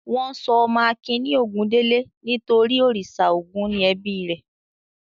Wọ́n sọ ọmọ Akin ní Ògúndélé nítorí a òrìṣà Ògún ni ẹbí rẹ̀.